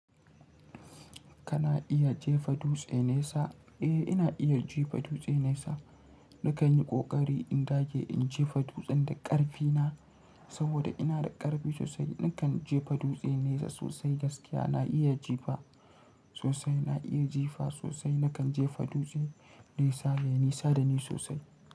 Kana iya jefa dutse nesa? Eh, ina iya jefa dutse nesa. Nakan yi ƙoƙari in dage in jefa dutsen da ƙarfi na, saboda ina da ƙarfi sosai. Nakan jefa dutse nesa sosai gaskiya. Na iya jefa sosai, na iya jefa sosai. Nakan jefa dutse nesa ya nisa da ni sosai.